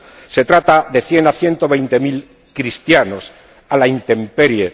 Se trata de cien a ciento veinte mil cristianos a la intemperie.